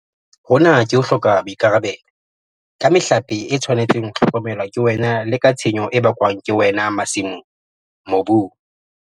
Hona ke ho hloka boikarabelo - ka mehlape e tshwanetseng ho hlokomelwa ke wena le ka tshenyo e bakwang ke wena masimong, mobung.